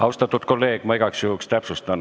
Austatud kolleeg, ma igaks juhuks täpsustan.